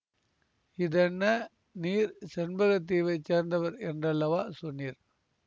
இதென்ன நீர் செண்பக தீவைச் சேர்ந்தவர் என்றல்லவா சொன்னீர்